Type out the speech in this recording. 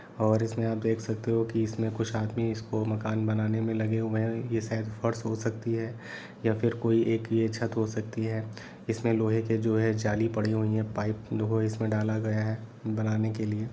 और इसमें आप देख सकते हो कि इसमें कुछ आदमी इसको मकान बनाने में लगे हुए हैं यह शायद फर्श हो सकती है या फिर कोई एक छत हो सकती है इसमें लोहे के जो है जाली पड़ी हुए हैं पाइप इसमें डाला गया है बनाने के लिए।